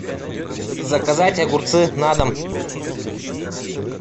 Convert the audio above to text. заказать огурцы на дом